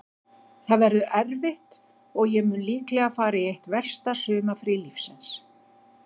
Það verður erfitt og ég mun líklega fara í eitt versta sumarfrí lífsins.